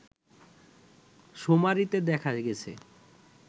শুমারিতে দেখা গেছে